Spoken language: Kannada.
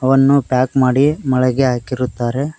ಅನ್ನೋ ಪ್ಯಾಕ್ ಮಾಡಿ ಮಳಿಗೆ ಹಾಕಿರುತ್ತಾರೆ.